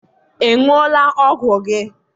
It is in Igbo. ị ṅụọla ọgwụ gị?